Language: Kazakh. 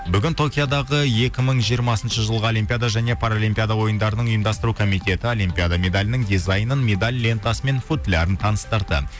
бүгін токиодағы екі мың жиырмасыншы жылғы олимпиада және параолимпиада ойындарының ұйымдастыру комитеті олимпиада медалінің дизайынын медаль лентасы мен футлярын таныстырды